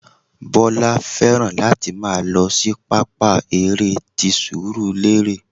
Bọlá fẹ́ràn láti máa lọ sí pápá eré ti surulere